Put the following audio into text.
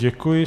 Děkuji.